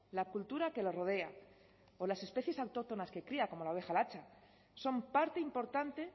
la cultura que le rodea o las especies autóctonas que cría como la oveja latxa son parte importante